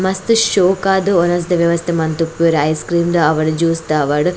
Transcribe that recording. ಮಸ್ತ್ ಶೋಕಾದ್ ವನಸ್ದ ವ್ಯವಸ್ಥೆ ಮಂತುಪ್ಪುವೆರ್ ಐಸ್ ಕ್ರೀಮ್ ದ ಆವಡ್ ಜ್ಯೂಸ್ದ ಆವಡ್.